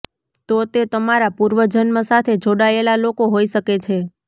તો તે તમારા પૂર્વજન્મ સાથે જોડાયેલા લોકો હોઈ શકે છે